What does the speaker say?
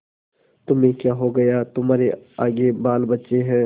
तुम्हें क्या हो गया है तुम्हारे आगे बालबच्चे हैं